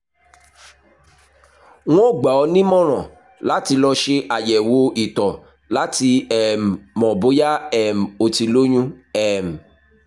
n ó gbà ọ́ nímọ̀ràn láti lọ ṣe àyẹ̀wò ìtọ̀ láti um mọ̀ bóyá um o ti lóyún um